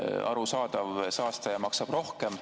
Arusaadav, et saastaja maksab rohkem.